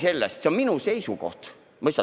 See on minu seisukoht, mõistad?